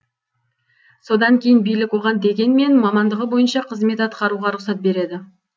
содан кейін билік оған дегенмен мамандығы бойынша қызмет атқаруға рұқсат береді